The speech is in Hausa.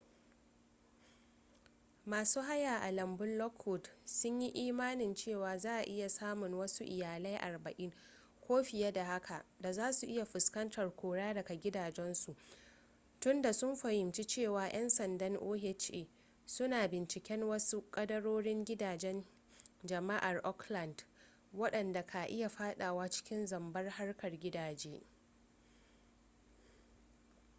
masu haya a lambun lockwood sunyi imanin cewa za'a iya samun wasu iyalai 40 ko fiye da haka da zasu iya fuskantar kora daga gidajensu tunda sun fahimci cewa 'yan sanda oha suna binciken wasu kadarorin gidajen jama'ar oakland wadanda ka iya fadawa cikin zambar harkar gidaje